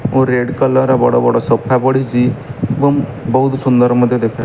ଓ red colour ର ବଡ଼ ବଡ଼ ସୋଫା ପଡିଛି ଏବଂ ବହୁତ ସୁନ୍ଦର ମଧ୍ୟ ଦେଖା --